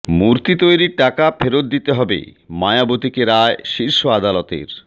মূর্তি তৈরির টাকা ফেরত দিতে হবে মায়াবতীকে রায় শীর্ষ আদালতের